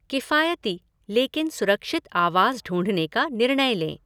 किफ़ायती, लेकिन सुरक्षित आवास ढूंढने का निर्णय लें।